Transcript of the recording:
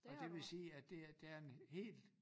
Og det vil sige at det der er en helt